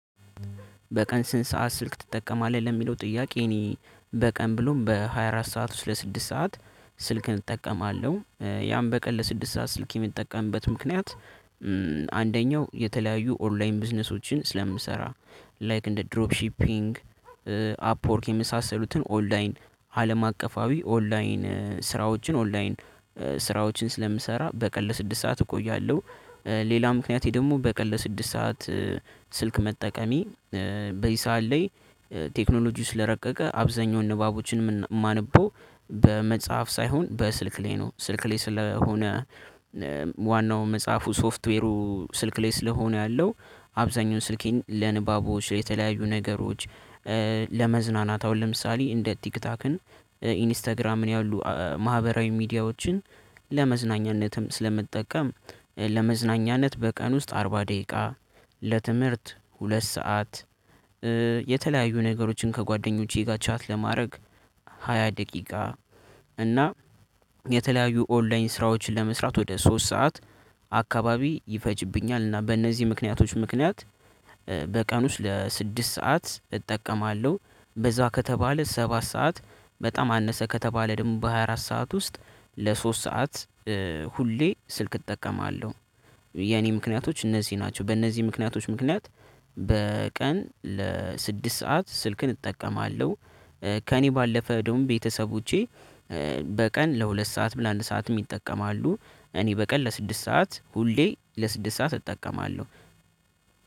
በቀን ስንት ሰዓት ስልክ ትጠቀማለህ? ለሚለው ጥያቄ እኔ በቀን ብሎም በሃያ አራት ሰዓት ውስጥ ለስድስት ሰዓት ስልክን እጠቀማለሁ። ያን በቀን ለስድስት ሰዓት ስልክ የምጠቀምበት ምክንያት አንደኛው የተለያዩ ኦንላይን ቢዝነሶችን ስለምሰራ ላይክ እንደ ድሮፕ ሺፒንግ አፕወርክ የመሳሰሉትን ኦንላይን አለም አቀፋዊ ኦንላይን ስራዎችን ኦንላይን ስራዎችን ስለምሰራ በቀን ለስድስት ሰዓት እቆያለሁ። ሌላ ምክንያቴ ደግሞ በቀል ለስድስት ሰዓት ስልክ መጠቀሜ በዚህ ሰዓት ላይ ቴክኖሎጂው ስለረቀቀ አብዛኛውን ንባቦችንም ማነበው በመጽሐፍ ሳይሆን በስልክ ላይ ነው። ስልክ ላይ ስለሆነ ዋናው መጽሐፉ ሶፍትዌሩ ስልክ ላይ ስለሆነ ያለው አብዛኛውን ስልኬን ለንባቦች ላይ የተለያዩ ነገሮች። ለመዝናናታ አሁን ለምሳሌ እንደ ቲክቶክን ኢንስታግራምን ያሉ ማህበራዊ ሚዲያዎችን ለመዝናኛነትም ስለምትጠቀም ለመዝናኛነት በቀን ውስጥ አርባ ደቂቃ ለትምህርት ሁለት ሰዓት። የተለያዩ ነገሮችን ከጓደኞቼ ቻት ለማድረግ ሃያ ደቂቃ እና የተለያዩ ኦንላይን ስራዎችን ለመስራት ወደ ሶስት ሰዓት አካባቢ ይፈጅብኛል። እና በእነዚህ ምክንያቶች ምክንያት በቀን ውስጥ ለስድስት ሰዓት እጠቀማለሁ። በዛ ከተባለ ሰባት ሰዓት በጣም አነሰ ከተባለ ደግሞ በሃያ አራት ሰዓት ውስጥ ለሶስት ሰዓት ሁሌ ስልክ እጠቀማለሁ። የኔ ምክንያቶች እነዚህ ናቸው በእነዚህ ምክንያቶች ምክንያት በቀን ለስድስት ሰዓት ስልክን እጠቀማለሁ። ከእኔ ባለፈ ደግሞ ቤተሰቦቼ በቀን ለሁለት ሰዓት ብለን አንድ ሰዓት ይጠቀማሉ። እኔ በቀን ለስድስት ሰዓት ሁሌ ለስድስት ሰዓት እጠቀማለሁ